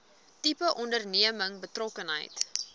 tipe onderneming betrokkenheid